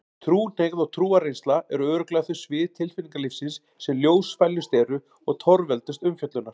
Trúhneigð og trúarreynsla eru örugglega þau svið tilfinningalífsins sem ljósfælnust eru og torveldust umfjöllunar.